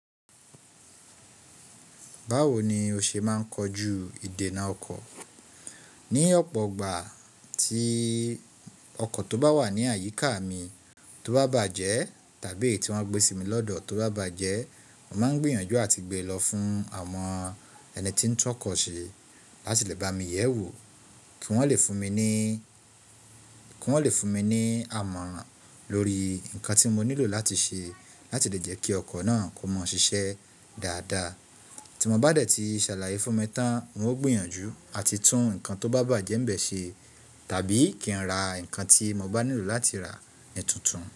Báwo ni o ṣe máa ń kojú ìdènà ọkọ̀? Ní ọ̀pọ̀ ìgbà tí ọkọ̀ tó bá wà ní àyíká mi tó bá bàjẹ́ tàbí eyì tí wọ́n gbé sí mi lọ́dọ̀ tó bá bàjẹ́, mo máa ń gbìyànjú àti gbé lọ fún àwọn ẹni tí ń tọ́kọ̀ ṣe láti lè bá mi yẹ̀wò kí wọn lè fún mi. Kí wọ́n lè fún mi ní àmọ̀ran lórí nǹkan tí mo nílò láti ṣe láti lè jẹ́ kí ọkọ̀ náà kó mọ́ ṣiṣẹ́ dáadáa. Tí wọ́n bá dẹ̀ tí ṣàlàyé fún mi tán, wọn ó gbìyànjú àti tún nǹkan tó bá bàjẹ́ ń bẹ̀ ṣe tàbí kí n ra nǹkan tí mo bá nílò láti rà nítuntun.